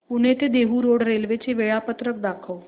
पुणे ते Dehu road railway चे वेळापत्रक दाखव